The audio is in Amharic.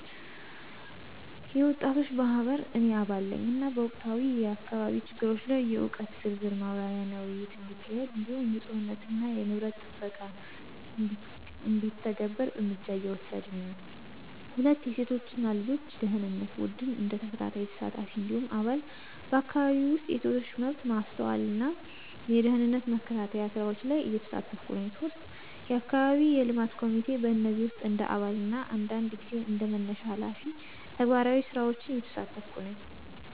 የወጣቶች ማህበር – እኔ አባል ነኝ፣ እና በወቅታዊ የአካባቢ ችግሮች ላይ የእውቀት ዝርዝር ማብራሪያና ውይይት እንዲካሄድ እንዲሁም ንፁህነትና የንብረት ጥበቃ እንዲተገናኝ እርምጃ እየወሰድን ነን። 2. የሴቶች እና ልጆች ደኅንነት ቡድን – እንደ ተከታታይ ተሳታፊ እንዲሁም አባል፣ በአካባቢው ውስጥ የሴቶች መብት ማስተዋልና የደህንነት መከታተያ ስራዎች ላይ እየተሳተፍኩ ነኝ። 3. የአካባቢ የልማት ኮሚቴ – በእነዚህ ውስጥ እንደ አባል እና አንዳንድ ጊዜ እንደ መነሻ ሃላፊ ተግባራዊ ስራዎችን እየተሳተፍኩ ነኝ።